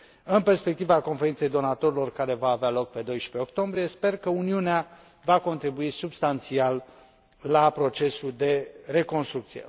În perspectiva Conferinței donatorilor, care va avea loc pe 12 octombrie, sper că Uniunea va contribui substanțial la procesul de reconstrucție.